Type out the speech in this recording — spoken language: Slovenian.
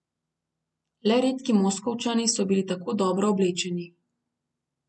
Le redki Moskovčani so bili tako dobro oblečeni.